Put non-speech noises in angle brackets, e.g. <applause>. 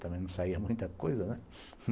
Também não saía muita coisa, né? <laughs>